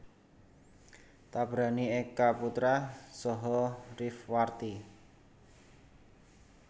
Tabrani Eka Putra saha Rifwarti